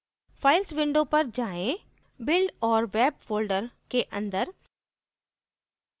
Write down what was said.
files window पर जाएँ build और web फोल्डर के अंदर